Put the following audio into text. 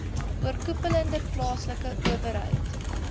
oorkoepelende plaaslike owerheid